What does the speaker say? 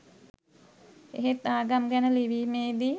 එහෙත් ආගම් ගැන ලිවීමේදි